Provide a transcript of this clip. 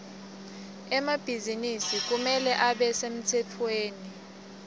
emabhizinisi kumele abe semtsetfweni